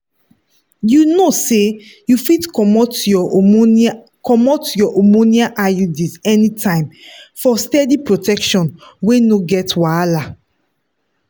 you know say you fit comot your hormonal comot your hormonal iuds anytime for steady protection wey no get wahala.